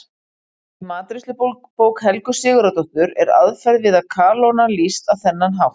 Í matreiðslubók Helgu Sigurðardóttur er aðferð við að kalóna lýst á þennan hátt: